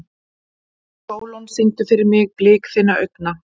Sólon, syngdu fyrir mig „Blik þinna augna“.